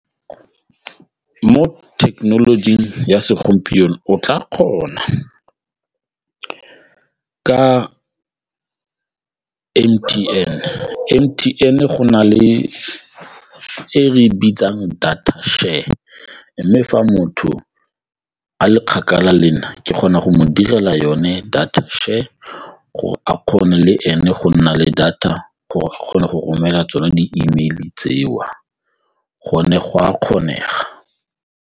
Mo thekenolojing ya segompieno o tla kgona ka M_T_N, M_T_N go na le e re e bitsang data share mme fa motho a le kgakala le nna ke kgona go mo direla yone data share gore a kgone le ene go nna le data gore o kgone go romela tsone di-Email-e tseo gone go a kgonega.